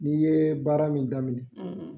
N'i ye baara min daminɛ,